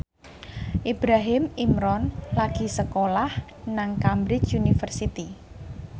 Ibrahim Imran lagi sekolah nang Cambridge University